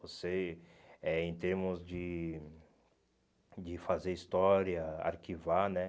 Você, eh em termos de de fazer história, arquivar, né?